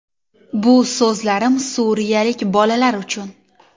Bu so‘zlarim suriyalik bolalar uchun.